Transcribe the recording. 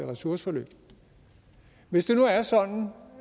ressourceforløb hvis det nu er sådan